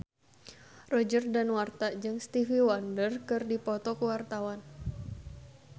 Roger Danuarta jeung Stevie Wonder keur dipoto ku wartawan